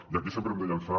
i aquí sempre hem de llançar